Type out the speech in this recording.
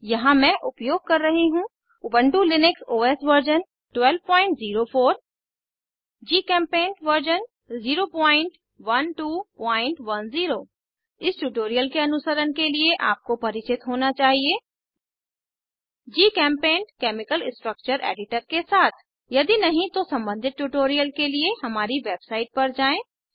यहाँ मैं उपयोग कर रही हूँ Ubuntu Linux OS version 1204 GChemPaint version 01210 इस ट्यूटोरियल के अनुसरण के लिए आपको परिचित होना चाहिए जीचेम्पेंट केमिकल स्ट्रक्चर एडिटर के साथ यदि नहीं तो सम्बंधित ट्यूटोरियल के लिए हमारी वेबसाइट पर जाएँ